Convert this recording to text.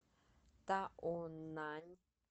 таонань